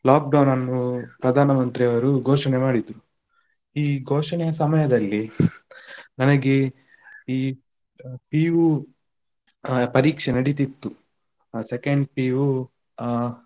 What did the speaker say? Lockdown ಅನ್ನು ಪ್ರಧಾನಮಂತ್ರಿಯವರು ಘೋಷಣೆ ಮಾಡಿದ್ರು. ಈ ಘೋಷಣೆಯ ಸಮಯದಲ್ಲಿ ನನಗೆ ಈ ಆ PU ಆ ಪರೀಕ್ಷೆ ನಡಿತಿತ್ತು, ಆ second PU ಆ.